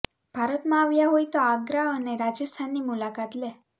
ભારતમાં આવ્યા હોય તો આગ્રા અને રાજસ્થાનની મુલાકાત લે